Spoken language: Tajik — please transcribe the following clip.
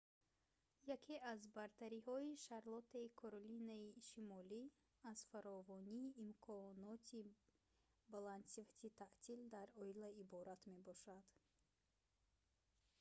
яке аз бартариҳои шарлоттаи каролинаи шимолӣ аз фаровонии имконоти баландсифати таътил дар оила иборат мебошад